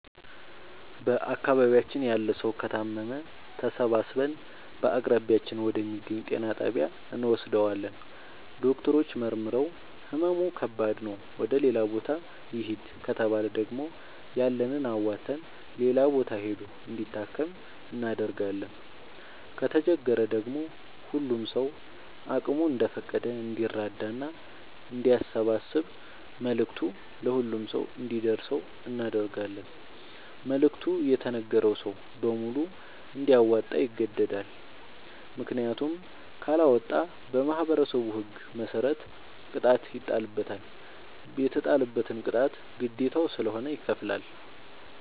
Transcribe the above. በአካባቢያችን ያለ ሠዉ ከታመመ ተሠባስበን በአቅራቢያችን ወደ ሚገኝ ጤና ጣቢያ እንወስደዋለን። ዶክተሮች መርምረዉ ህመሙ ከባድ ነዉ ወደ ሌላ ቦታ ይህድ ከተባለ ደግሞ ያለንን አዋተን ሌላ ቦታ ሂዶ እንዲታከም እናደርጋለን። ከተቸገረ ደግሞ ሁሉም ሰዉ አቅሙ እንደፈቀደ እንዲራዳና አንዲያሰባስብ መልዕክቱ ለሁሉም ሰው አንዲደርሰው እናደርጋለን። መልዕክቱ የተነገረዉ ሰዉ በሙሉ እንዲያወጣ ይገደዳል። ምክንያቱም ካለወጣ በማህበረሠቡ ህግ መሰረት ቅጣት ይጣልበታል። የተጣለበትን ቅጣት ግዴታዉ ስለሆነ ይከፍላል።